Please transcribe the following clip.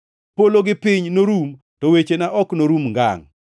Polo gi piny norum to wechena ok norum ngangʼ.